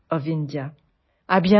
অশেষ ধন্যবাদ